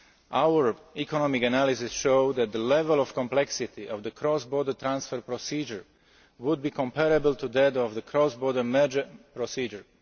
Our economic analyses show that the level of complexity of the cross border transfer procedure would be comparable to that of the cross border merger procedure.